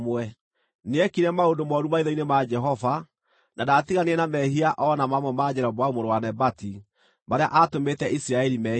Nĩekire maũndũ mooru maitho-inĩ ma Jehova, na ndaatiganire na mehia o na mamwe ma Jeroboamu mũrũ wa Nebati marĩa aatũmĩte Isiraeli meehie.